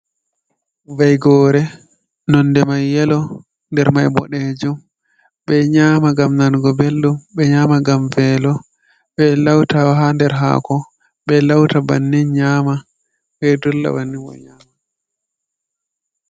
Vaigoore nonde mai yeelo ndermai boɗejum. Ɓe nyaama ngam nango belɗum ɓe nyaama ngam veelo. Ɓe lauta ha nder haako be lauta bannin nyaama, ɓedolla banninma nyaama.